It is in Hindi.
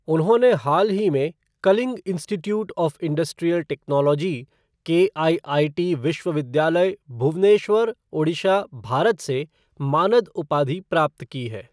उन्होंने हाल ही में Kalinga institute of industrial technology, KIIT विश्वविद्यालय, भुवनेश्वर, ओडिशा, भारत से मानद उपाधि प्राप्त की है।